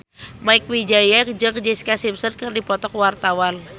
Mieke Wijaya jeung Jessica Simpson keur dipoto ku wartawan